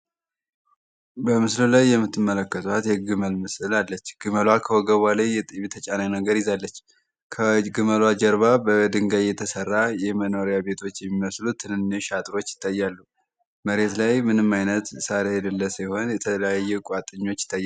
በምስል ላይ የተጫነች ግመል አለች